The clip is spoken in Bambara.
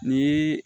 Ni